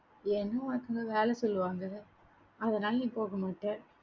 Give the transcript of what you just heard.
ஏன்னா, உனக்கு இன்னொரு வேலை சொல்லுவாங்க. அதனால நீ போக மாட்ட